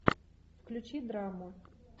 включи драму